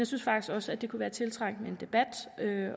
synes faktisk også at det kunne være tiltrængt med en debat